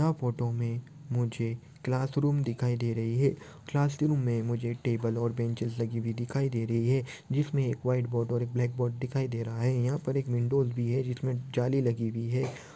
यह फोटो मे मुझे क्लासरूम दिखाई दे रही है। क्लासरूम मे मुझे टेबल और बेन्चेस लगे हुए दिखाई दे रही है जिसमे एक व्हाईट बोर्ड और एक ब्लैक बोर्ड दिखाई दे रहा है। यहाँ पर एक विंडो भी है जिसमे जाली लगी हुई है।